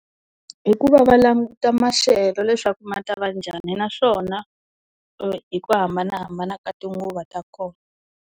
Hi ku va va languta maxelo leswaku ma ta va njhani, naswona hi ku hambanahambana ka tinguva ta kona.